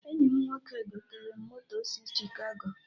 Enyi m nwoke gotere m moto si Chikago